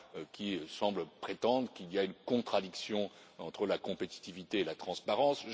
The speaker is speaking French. qui semble prétendre qu'il y a une contradiction entre la compétitivité et la transparence.